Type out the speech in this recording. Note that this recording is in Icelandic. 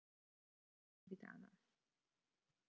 Talaðu við hana.